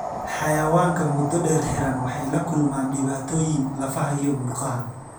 Xayawaanka muddo dheer xiran waxay la kulmaan dhibaatooyin lafaha iyo murqaha.